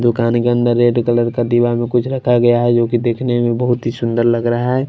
दुकान के अंदर रेड कलर का दीवान में कुछ रखा गया हैजो कि देखने में बहुत ही सुंदर लग रहा है।